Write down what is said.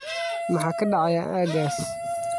maxaa ka dhacaya aaggaas